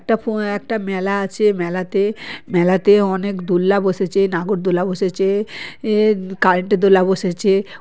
একটা পপ আ একটা মেলা আছে মেলাতে মেলাতে অনেক দূর্লা বসেছে নাগরদোলা বসেছে এ কারেন্ট এর দোলা বসেছে ।